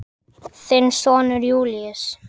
Þinn sonur Júlíus.